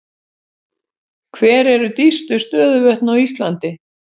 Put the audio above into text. Hver eru dýpstu stöðuvötn á Íslandi?